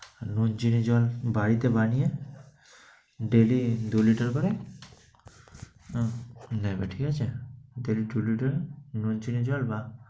আর নুন, চিনি, জল বাড়িতে বানিয়ে, ডেইলি দুই liter করে নেবে, ঠিক আছে? daily two liter নুন, চিনি জল বা~